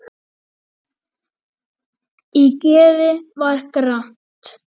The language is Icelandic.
Í geði var gramt.